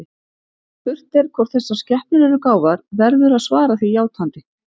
Ef spurt er hvort þessar skepnur eru gáfaðar, verður að svara því játandi.